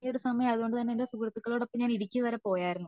ഈ സമയം അത്കൊണ്ട് തന്നെ ഞാൻ എന്റെ സുഹൃത്തുക്കളുടെ ഒപ്പം ഇടുക്കി വരെ പോയതായിരുന്നു